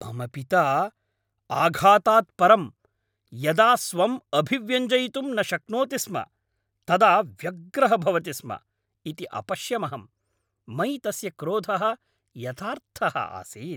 मम पिता, आघातात् परं, यदा स्वं अभिव्यञ्जयितुं न शक्नोति स्म तदा व्यग्रः भवति स्म इति अपश्यमहम्। मयि तस्य क्रोधः यथार्थः आसीत्।